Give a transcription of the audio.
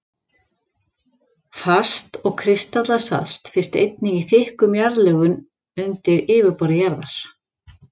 Fast og kristallað salt finnst einnig í þykkum jarðlögum undir yfirborði jarðar.